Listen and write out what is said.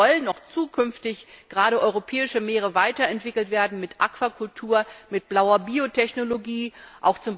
Es sollen auch zukünftig gerade europäische Meere weiterentwickelt werden mit Aquakultur, mit blauer Biotechnologie, z.